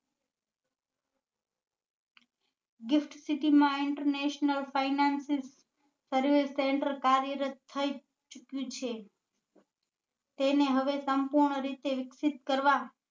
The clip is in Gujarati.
Gift city માં international finances servise center કાર્યરત થઇ ચુક્યું છે તેને હવે સંપૂર્ણ રીતે વિકસિત કરવા